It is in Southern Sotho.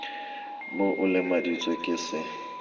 b o lemaditswe ke se